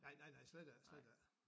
Nej nej nej slet ikke slet ikke